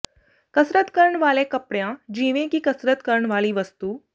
ਕਸਰਤ ਕਰਨ ਵਾਲੇ ਕਪੜਿਆਂ ਜਿਵੇਂ ਕਿ ਕਸਰਤ ਕਰਨ ਵਾਲੀ ਵਸਤੂ